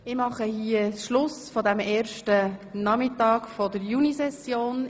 Ich beende an dieser Stelle die erste Nachmittagssitzung der Junisession.